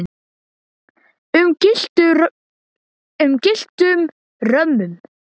um gylltum römmum.